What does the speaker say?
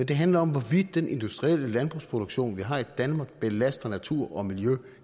det handler om hvorvidt den industrielle landbrugsproduktion vi har i danmark belaster natur og miljø